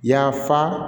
Yafa